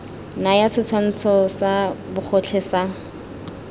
naya setshwantsho sa bogotlhe sa